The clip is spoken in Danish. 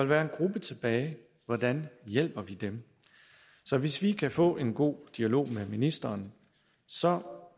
være en gruppe tilbage hvordan hjælper vi dem så hvis vi kan få en god dialog med ministeren så